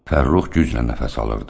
Fərrux güclə nəfəs alırdı.